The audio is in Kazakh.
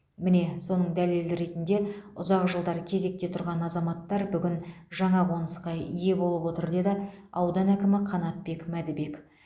міне соның дәлелі ретінде ұзақ жылдар кезекте тұрған азаматтар бүгін жаңа қонысқа ие болып отыр деді аудан әкімі қанатбек мәдібек